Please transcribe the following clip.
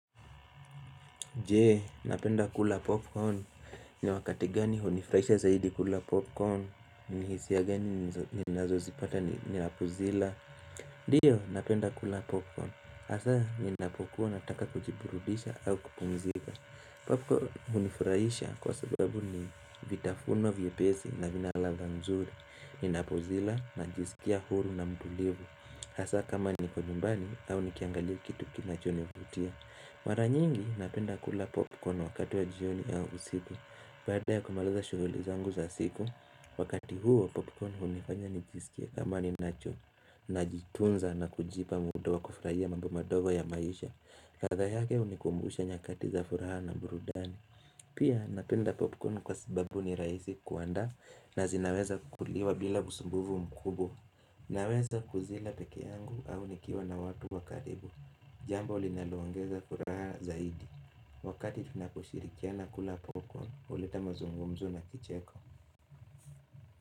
Jee, napenda kula popcorn. Ni wakati gani hunifurahisha zaidi kula popcorn? Ni hisia gani ninazozipata ninapozila? Ndio, napenda kula popcorn. Hasa ninapokuwa nataka kujiburudisha au kupumzika. Popcorn hunifurahisha kwa sababu ni vitafunwa vyepesi na vina ladha nzuri. Ninapozila najisikia huru na mtulivu. Hasa, kama niko nyumbani au nikiangalia kitu kinachonivutia. Mara nyingi napenda kula popcorn wakati wa jioni au usiku. Baada ya kumaliza shughuli zangu za siku Wakati huo popcorn hunifanya nijisikia kama ninacho Najitunza na kujipa muda wa kufurahia mambo madogo ya maisha ladha yake hunikumbusha nyakati za furaha na burudani Pia napenda popcorn kwa sababu ni rahisi kuandaa na zinaweza kuliwa bila usumbufu mkubwa Naweza kuzila peke yangu au nikiwa na watu wakaribu Jambo linalo ongeza furaha zaidi Wakati tunakushirikia na kula popcorn huleta mazungumzo na kicheko.